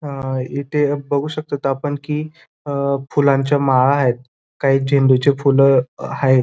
अ इथे बघू शकतो आपण की अ फुलांच्या माळायत काही झेंडूची फुलं अ हायत.